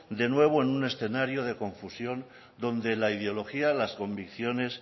de nuevo es un escenario de confusión donde la ideología las convicciones